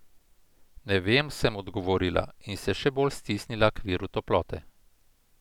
Ne vem, sem odgovorila in se še bolj stisnila k viru toplote.